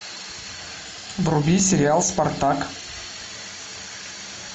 вруби сериал спартак